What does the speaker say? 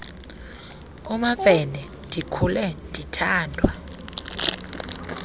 umamfene ndikhule ndithandwa